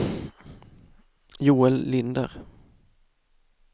Joel Linder